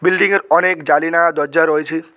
বিল্ডিংয়ের অনেক জালিনা দরজা রয়েছে।